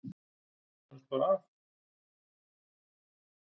Hjálpumst bara að.